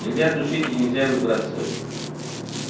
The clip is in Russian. нельзя душить и нельзя выбрасывать